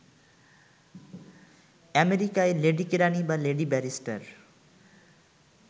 আমেরিকায় লেডীকেরাণী বা লেডীব্যারিষ্টার